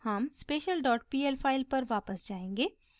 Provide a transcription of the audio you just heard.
हम special dot pl file पर वापस जायेंगे